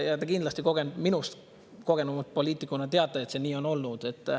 Te kindlasti minust kogenuma poliitikuna teate, et see nii on olnud.